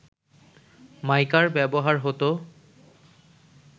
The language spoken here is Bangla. মাইকার ব্যবহার হতো